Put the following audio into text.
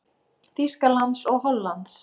Þýskalands og Hollands.